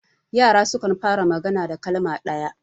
yara sukan fara magana da kalma ɗaya